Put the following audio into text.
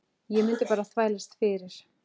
Ég mundi bara þvælast fyrir.